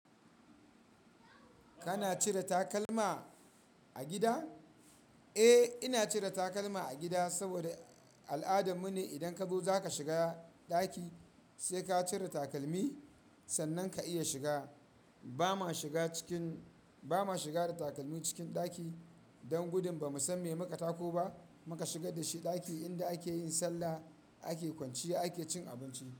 Kana cire takalma a gida? Eh, ina cire takalma a gida saboda al'adanmu ne idan ka zo za ka shiga ɗaki sai ka cire takalmi sannan ka iya shiga. Ba ma shiga cikin, ba ma shiga da takalmi cikin ɗaki. Don gudun ba mu san me muka tako ba muka shigar da shi ɗaki inda ake yin sallah, ake kwanciya, ake cin abinci.